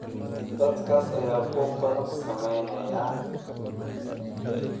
Dadkaas ayaa buuq badan sameynaya